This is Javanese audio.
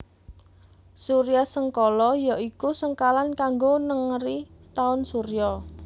Suryasengkala ya iku sengkalan kanggo nengeri taun surya